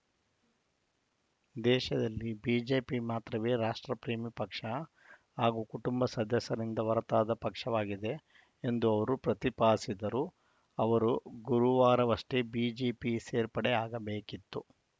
ದೇಶದಲ್ಲಿ ಬಿಜೆಪಿ ಮಾತ್ರವೇ ರಾಷ್ಟ್ರಪ್ರೇಮಿ ಪಕ್ಷ ಹಾಗೂ ಕುಟುಂಬ ಸದಸ್ಯರಿಂದ ಹೊರತಾದ ಪಕ್ಷವಾಗಿದೆ ಎಂದು ಅವರು ಪ್ರತಿಪಾದಿಸಿದರು ಅವರು ಗುರುವಾರವಷ್ಟೇ ಬಿಜೆಪಿ ಸೇರ್ಪಡೆಯಾಗಬೇಕಿತ್ತು